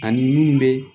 Ani minnu bɛ